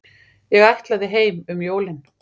Ég ætlaði heim um jólin.